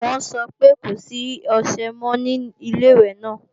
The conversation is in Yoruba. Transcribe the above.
Wọ́n sọ pé kò sí ọṣẹ mọ́ ní Ilé-ìwẹ̀ náà